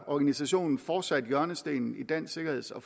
at organisationen fortsat udgør hjørnestenen i dansk sikkerheds og